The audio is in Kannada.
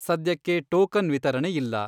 ಸದ್ಯಕ್ಕೆ ಟೋಕನ್ ವಿತರಣೆ ಇಲ್ಲ.